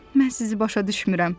Mən sizi başa düşmürəm.